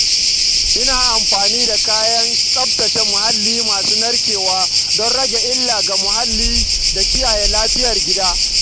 Ina amfani da kayan tsaftace muhalli masu narkewa don rage illa ga muhalli da kiyaye lafiyar gida.